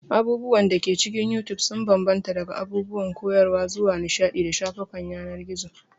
Abubuwan da ke cikin You Tube sun bambanta daga abubuwan koyarwa zuwa nishaɗi da shafukan yanar gizo.